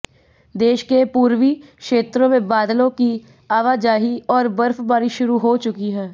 देश के पूर्वी क्षेत्रों में बादलों की आवाजाही और बर्फबारी शुरू हो चुकी है